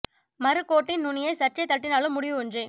மறு கோட்டின் நுனியை சற்றே தட்டினாலும் முடிவு ஒன்றே